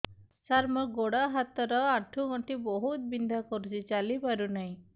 ସାର ମୋର ଗୋଡ ହାତ ର ଆଣ୍ଠୁ ଗଣ୍ଠି ବହୁତ ବିନ୍ଧା କରୁଛି ଚାଲି ପାରୁନାହିଁ